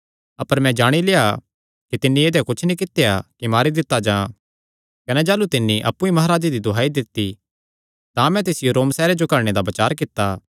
अपर मैं जाणी लेआ कि तिन्नी ऐदेया कुच्छ नीं कित्या कि मारी दित्ता जां कने जाह़लू तिन्नी अप्पु ई महाराजे दी दुहाई दित्ती तां मैं तिसियो रोम सैहरे जो घल्लणे दा बचार कित्ता